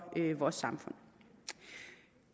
vores samfund